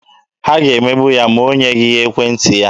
Ha ga-emegbu ya ma o nyeghị ha ekwentị ya?